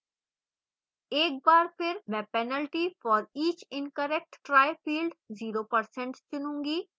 एक बार फिर मैं penalty for each incorrect try field 0% रखूंगी